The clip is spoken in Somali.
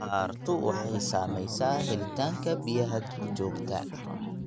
Abaartu waxay saamaysaa helitaanka biyaha duurjoogta.